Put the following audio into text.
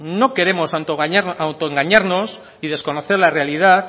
no queremos auto engañarnos y desconocer la realidad